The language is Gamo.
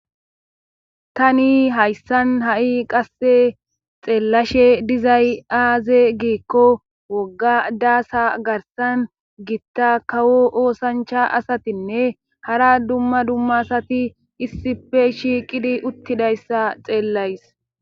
Tani hayssan ha7i qasse xeellashe dizay aaze giikko wogga daasa garsan gitta kawo oosancha asatinne hara dumma dummasati issife shiiqidi uttidayssa xeellays.